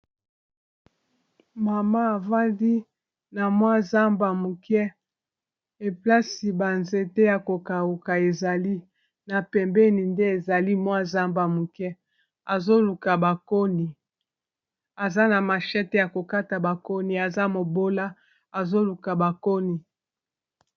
Mama afandi na mwa zamba muke eplasi ba nzete ya ko kauka ezali na pembeni nde ezali mwa zamba muke azoluka bakoni aza na mashete ya kokata bakoni aza mobola azoluka bakoni.